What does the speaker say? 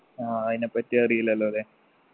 ആ അയിനെപ്പറ്റി അറീല്ലല്ലോ ല്ലേ